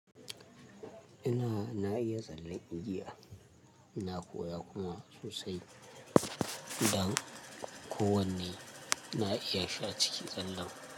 Ina na iya tsallen Indiya, na koya kuma sosai don ko wanne na iya shi a cikin tsallan.